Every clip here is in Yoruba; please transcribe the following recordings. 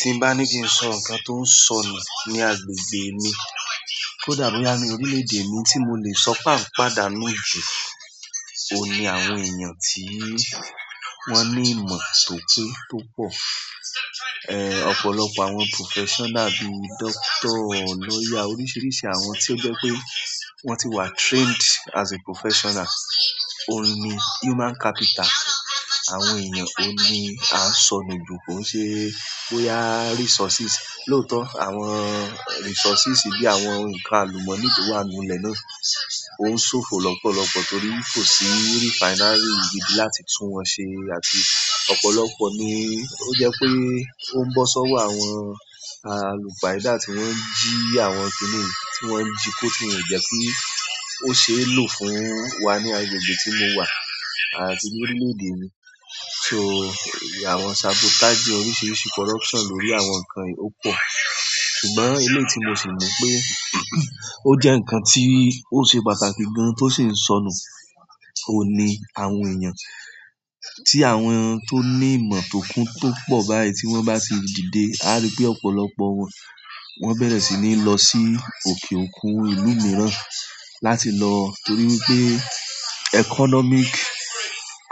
Tí n bá ní kí n sọ ǹkan tó ń sọnù ní agbègbè mi, kó dà boya ni orílè-èdè mi ohun tí mo lè sọ pe a n padà nù jù, òhun ni àwọn èèyàn tí wọ́n ní ìmọ̀ tòpé tó pọ̀, eh ọ̀pọ̀lọpọ̀ àwọn professional bíi doctor, lawyer, oríṣiríṣi àwọn tí ó jẹ́ pé wọ́n ti wà trained as a professional. Òun ni human capital, àwọn èèyàn, òun ni a ń sọ nù jù ko i ṣe pé bóyá resources. Loótọ́, àwọn resources bí àwọn ǹkan àlùmọ́nì tó wà nínú ilẹ̀ náà oun sofo lopolopo torí ko si refinery gidi láti tun won se, ọ̀pọ̀lọpọ̀ ni oun bo si owo àwọn alupayida ti won n ji àwọn kini yi, ti won ji ti ko ti won o je ki o se e lo fún wa ni agbègbè ti mo wa àti lórí leede mi so àwọn sabotage oríṣiríṣi corruption lórí àwọn ǹkan yìí ó pọ̀. Ṣùgbọ́n eléyi tí mo sì mọ̀ pé ó jẹ́ ǹkan tí ó ṣe pàtàkì gan-an tó sì ń sọnù, òun ni àwọn èèyàn tí àwọn tó ní ìmọ̀ tòkun tó pọ̀ báyìí tí wọ́n bá ti dìde, a rí pé ọ̀pọ̀lọpọ̀ wọn, wọ́n bẹ̀rẹ̀ sí ní lọ sí òkè òkun ìlú mìíràn láti lo, torí wípé, economic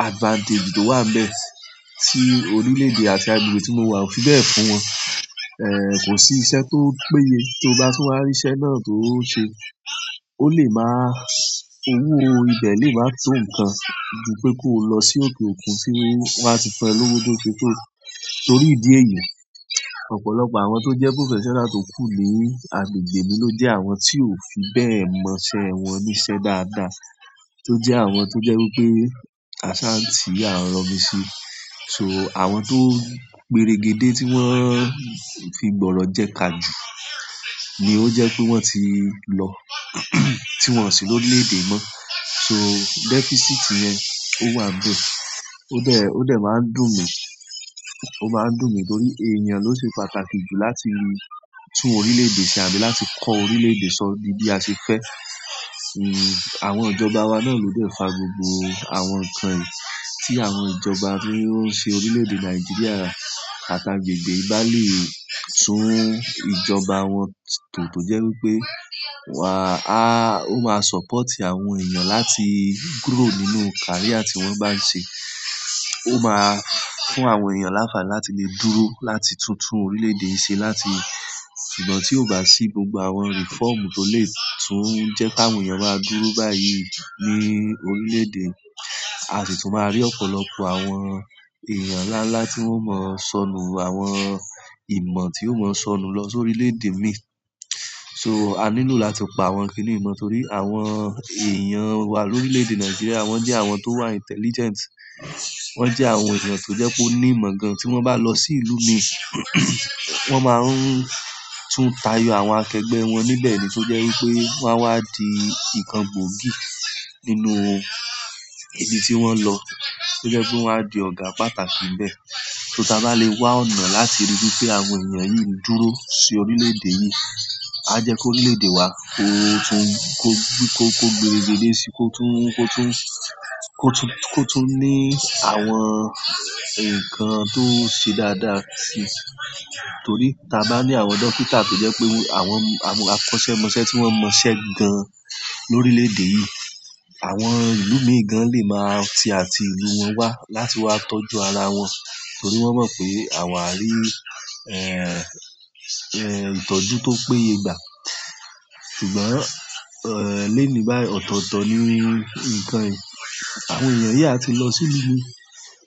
advantage to wa níbẹ̀ ti orileede àti agbègbè ti mo wa o fi bẹ́ẹ̀ fún won eh kò sí iṣẹ́ tó péye, tí o bá tún wá rí iṣẹ́ náà tó ṣe, ó lè máa-- owó ibẹ̀ lè máa tó ǹkan ju pé kó o lọ sí òkè òkun tí wọ́n á ti fún lówo tó ṣe tó torí ìdí èyí. Ọ̀pọ̀lọpọ̀ àwọn tó jẹ́ professional tó kú ni agbègbè mi ló jẹ́ àwọn tí ò fi bẹ́ẹ̀ mọṣẹ́ wọn níṣẹ́ dáadáa, tó jẹ́ àwọn tó jẹ́ wí pé asa n ti à n rọ̀ misí. So àwọn tó péregedé tí wọ́n fi gbọ̀ọrọ̀ jẹ ka ju ni ó jẹ́ pé wọ́n ti lọ tí wọn sì lórilè-èdè yi mọ́. So deficit yẹn ó wà n bẹ́ẹ̀. Ó dẹ̀, ó dẹ̀ máa ń dùn mí, ó máa ń dùn mí torí èèyàn ló ṣe pàtàkì jù láti tún orílè-èdè ṣe àbí láti kọ́ orílè-èdè sọ dí bí a ṣe fẹ́. Àwọn ìjọba wa náà lo de fa gbogbo àwọn ǹkan yìí tí àwọn ìjọba tí i ó ń ṣe orílè-èdè Nàìjíríà àti agbègbè yi bà lè tún ìjọba wọn tó tọ̀ jẹ́ wí pé wà a ó máa support àwọn èèyàn láti grow nínú career tí wọ́n bá ń ṣe, ó máa fún àwọn èèyàn lánfàni láti lè dúró láti tún tún orílè-èdè yi ṣe láti ṣùgbọ́n tí ó bá sí gbogbo àwọn reform tó lè tún jẹ́ kí àwọn èèyàn máa dúró báyìí ní orílè-èdè, a sì tún máa rí ọ̀pọ̀lọpọ̀ àwọn èèyàn ńlá ńlá tí wọ́n mọ̀ sọnù, àwọn ìmọ̀ tí ó mọ̀ sọnù lọ sórí orílè-èdè mi. So a nílò láti pa àwọn kìnì yi mọ́ torí àwọn èèyàn wa lórílè-èdè Nàìjíríà wọ́n jẹ́ àwọn tó wà intelligent, wọ́n jẹ́ àwọn èèyàn tó jẹ́ pé ó ní ìmọ̀ gan-an tí wọ́n bá lọ sí ìlú mi wọ́n máa ń tún tayo àwọn akẹgbẹ́ wọn níbẹ̀ ni tó jẹ́ wí pé wọ́n á wa di ǹkan gbòógì nínú ibi tí wọ́n lọ, tó jẹ́ pé wọ́n á di ọ̀gá pàtàkì níbẹ̀. So tí a bá lè wá ọ̀nà láti ríi wí pé àwọn èèyàn yìí ń dúró sí orílè-èdè yìí, a jẹ́ kó ri lèdè wa kó tún kó bí kó gbe òde sí, kó tún kó tún kó tún kó tún ní àwọn ǹkan tó ṣe dáadáa sí i. Torí tí a bá ní àwọn dókítà tó jẹ́ pé àwọn àwọn akọ́ṣẹ́mọṣẹ́ tí wọ́n mọṣẹ́ gan-an lórílè-èdè yìí, àwọn ìlú mìí gan lè máa ti àti ìlú wọn wá láti wá tọ́jú ara wọn torí wọ́n mọ̀ pé àwa rí eh eh ìtọ́jú tó péye gbà. Ṣùgbọ́n eh lónìí báyìí ọ̀tọ̀ọ̀tọ̀ ni ǹkan yìí. Àwọn èèyàn yìí á ti lọ sí ìlú mi.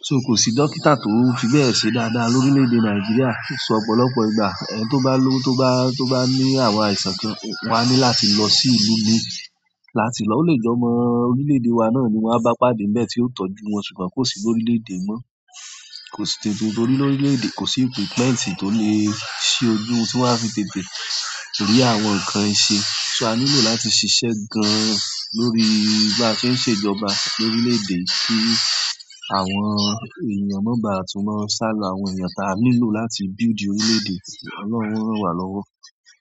So kò sí dókítà tó fi bẹ́ẹ̀ ṣe dáadáa lórílè-èdè Nàìjíríà, so ọ̀pọ̀lọpọ̀ ìgbà eh tó bá lówo tó bá tó bá ní àwọn àìsàn kan, wọ́n á ní láti lọ sí ìlú mi láti lọ o lè je ọmọ orílè-èdè wa náà ni wọ́n á bá pàdé níbẹ̀ tí ó tọ́jú wọn ṣùgbọ́n kò sí lórí orílè-èdè yi mọ́. Kò sí tètè torí lórílè-èdè kò sí equipment tó lè ṣi ojú tí wọ́n á fi tètè rí àwọn ǹkan yi ṣe. So a nílò láti ṣiṣẹ́ gan-an lórí bí a se ń ṣe ìjọba lórílè-èdè yi kí àwọn èèyàn má bàá tún má sálọ àwọn èèyàn tí a nílò láti build orílè-èdè. Ọlọ́run o rán wà lọ́wọ́.